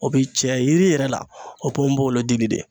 O bi cɛya yiri yɛrɛ la o ye ponponpogolon dili de ye